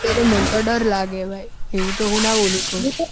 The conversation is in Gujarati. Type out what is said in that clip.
મન તો દર લાગે બાઈ એવું તો હું ના બોલી કઉ